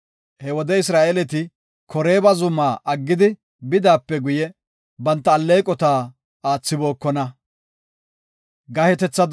He wode Isra7eeleti Koreeba zumaa aggidi bidaape guye, banta alleeqota aathibokona.